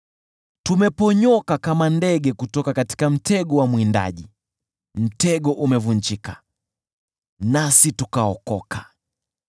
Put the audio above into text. Tumeponyoka kama ndege kutoka mtego wa mwindaji; mtego umevunjika, nasi tukaokoka.